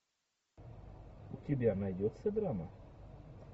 у тебя найдется драма